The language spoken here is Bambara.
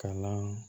Kalan